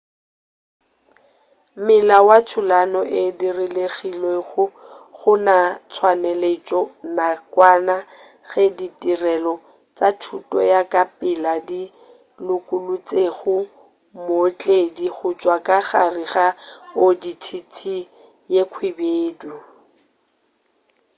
mmila wo thulano e diregilego gona o tswaletšwe nakwana ge ditirelo tša thušo ya ka pela di lokolotšego mootledi gotšwa ka gare ga audi tt ye khwibedu